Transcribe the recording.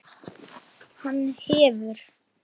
Hún verður rauð á nefinu.